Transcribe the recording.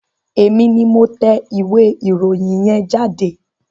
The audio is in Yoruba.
Èmi ni mo tẹ ìwé ìròyìn yẹn jáde.